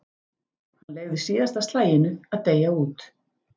Hann leyfði síðasta slaginu að deyja út.